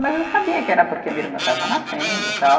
Mas eu sabia que era porque a minha irmã estava nascendo tal.